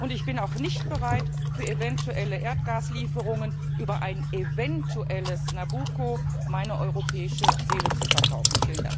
Ich bin auch nicht bereit, für eventuelle Erdgaslieferungen über ein eventuelles Nabucco meine europäische Seele zu verkaufen.